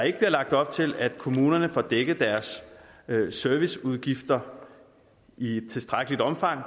ikke bliver lagt op til at kommunerne får dækket deres serviceudgifter i tilstrækkeligt omfang